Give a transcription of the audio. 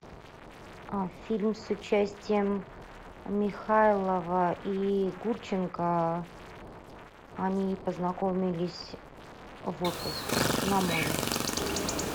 фильм с участием михайлова и гурченко они познакомились в отпуске на море